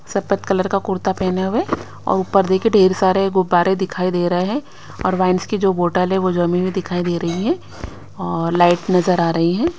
सफेद कलर का कुर्ता पहने हुए और ऊपर देखिए ढेर सारे गुब्बारे दिखाई दे रहे हैं और वाइन की जो बोटल है वह जमी हुई दिखाई दे रही है और लाइट नज़र आ रही हैं।